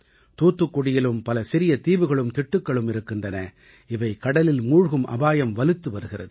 தூத்துக்குடியிலும் பல சிறிய தீவுகளும் திட்டுக்களும் இருக்கின்றன இவை கடலில் மூழ்கும் அபாயம் வலுத்து வருகிறது